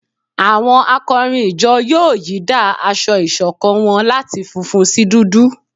Awọn akọrin ìjọ yóò yìí dá aṣọ ìṣọ̀kan wọn láti fúnfún sí dúdú